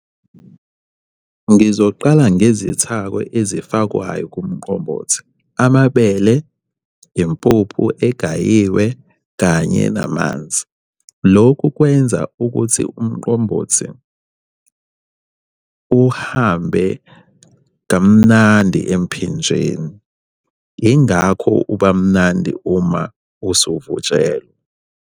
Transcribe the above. Ngizoqala ngezithako ezifakwayo kumqombothi. Amabele, impuphu engayizwa, kanye namanzi. Lokhu kwenza ukuthi umqombothi uhambe kamnandi emphinjeni. Yingakho uba mnandi uma usuvutshelwe.